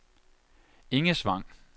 Engesvang